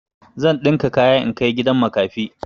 Zan ɗinka kaya in kai gidan makafi.